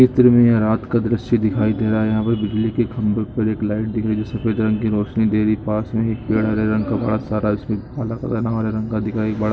चित्र में रात का दृश्य दिखाई दे रहा है यहाँ पर बिजली के खंबे पर एक लाइट दिख रही है जो सफेद रंग की रोशनी दे रही है पास मे में एक पेड़ है हरे रंग का बोहत सारा जिसमें काला-काला हरे रंग का बड़ा--